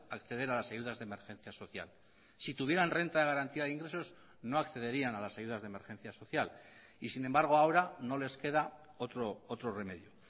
acceder a las ayudas de emergencia social si tuvieran renta de garantía de ingresos no accederían a las ayudas de emergencia social y sin embargo ahora no les queda otro remedio